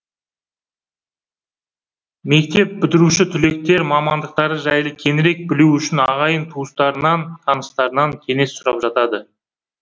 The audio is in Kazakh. мектеп бітіруші түлектер мамандықтары жайлы кеңірек білу үшін ағайын туыстарынан таныстарынан кеңес сұрап жатады